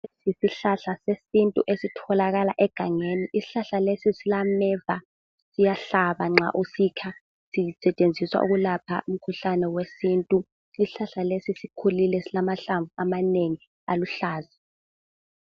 Isihlahla sesintu esitholakala egangeni isihlahla lesi silameva siyahlabanxa usibamba sisetshenziswa ukulapha umkhuhlane wesintu isihlahla lesi sikhulu lesi silamahlamvu amanengi aluhlaza